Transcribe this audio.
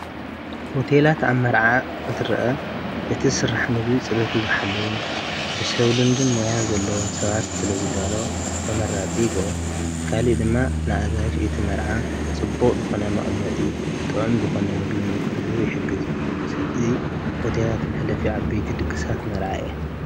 ሆቴላት ኣብ መርዓ እንትርአ እቲ ዝስራሕ ምግቢ ፅሬቱ ዝሓለወን ብሰብ ልምድን ሞያን ዘለዎን ሰባት ስለ ዝዳሎ ተመራፂ ይገብሮ፡፡ ካሊእ ድማ ንኣጋይሽ እቲ መርዓ ጽቡቕ ዝኾነ መቕመጢ ጥዑም ዝኾነ ምግቢ ንክህሉ ይሕግዝ፡፡ እዙይ ሆቴላት መሕለፊ ዓበይቲ ድግሳት መርዓ እየ፡፡